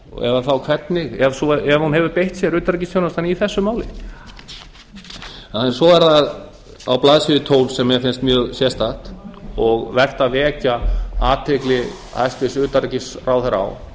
eða þá hvernig ef utanríkisþjónustan hefur beitt sér í þessu máli svo er það á blaðsíðu tólf sem mér finnst mjög sérstakt og vert að vekja athygli hæstvirts utanríkisráðherra á